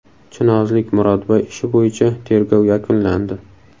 Chinozlik Murodboy ishi bo‘yicha tergov yakunlandi.